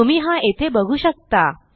तुम्ही हा येथे बघू शकता